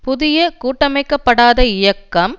புதிய கூட்டமைக்கப்படாத இயக்கம்